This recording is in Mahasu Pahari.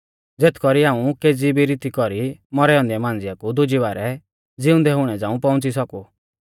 ज़ेथ कौरी हाऊं केज़ी भी रीती कौरी मौरै औन्दै मांझ़िया कु दुज़ी बारै ज़िउंदै हुणै झ़ाऊं पौउंच़ी सौकु